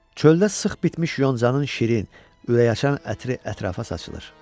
Çöldə sıx bitmiş yoncanın şirin, ürəkaçan ətri ətrafa saçılır.